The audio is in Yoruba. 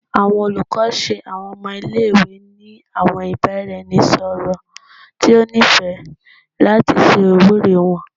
Awọn olukọ ṣe awọn ọmọ ile-iwe ni awọn ibaraẹnisọrọ ti o nifẹ lati ṣe iwuri wọn